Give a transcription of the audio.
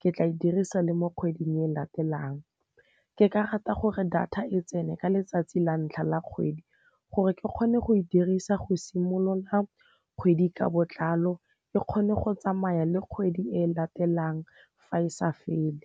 ke tla e dirisa le mo kgweding e latelang. Ke ka rata gore data e tsene ka letsatsi la ntlha la kgwedi gore ke kgone go e dirisa go simolola kgwedi ka botlalo, e kgone go tsamaya le kgwedi e latelang fa e sa fele.